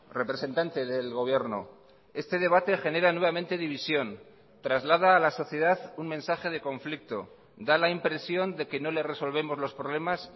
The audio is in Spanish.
representante del gobierno este debate genera nuevamente división traslada a la sociedad un mensaje de conflicto da la impresión de que no le resolvemos los problemas